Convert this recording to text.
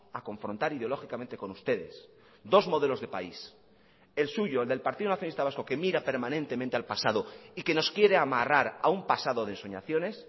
a confrontar ideológicamente con ustedes dos modelos de país el suyo el de el partido nacionalista vasco que mira permanentemente al pasado y que nos quiere amarrar a un pasado de ensoñaciones